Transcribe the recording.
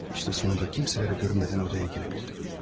İşte sonunda kimsələrə görünmədən odaya girə bildim.